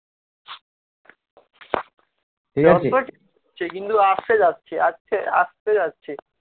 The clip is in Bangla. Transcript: সে কিন্তু আসছে যাচ্ছে আসছে আসছে যাচ্ছে